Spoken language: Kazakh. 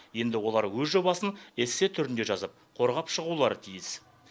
енді олар өз жобасын эссе түрінде жазып қорғап шығулары тиіс